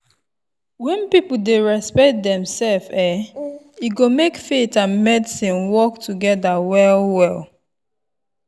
when people dey respect demself[um]e go make faith and medicine work together well-well.